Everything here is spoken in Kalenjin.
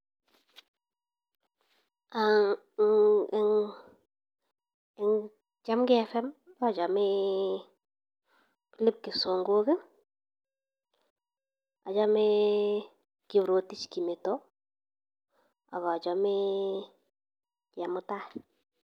Eng eng chamgei Fm acheme Philip Songok, achame Kiprotich Kimeto ak achame Chemutai.